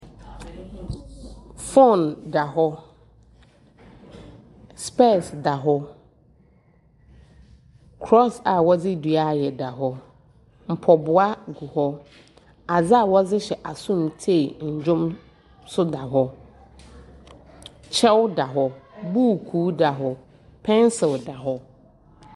Fon dahɔ spears dahɔ kros a ɔdi dua ayɛ dahɔ mpaboa gu hɔ adeɛ ɔdi hyɛ aso mu tie ndwom nso dahɔ kyɛw dahɔ buuku dahɔ pencil dahɔ.